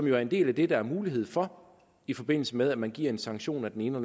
jo er en del af det der er mulighed for i forbindelse med at man giver en sanktion af den ene